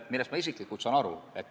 Sellest ma isiklikult saan aru.